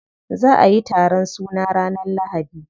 Za'a yi taron suna ranar lahadi.